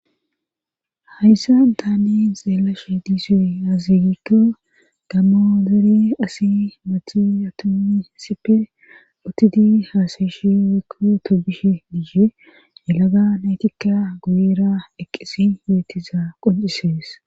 Hayssan taanen xeelashe diisoy haazigikka gammoo dere asi mati atomi sipe utidi haasayishi wekko tobishe diihe yilaga naytikka guyera eqqesi beettiza qoncisees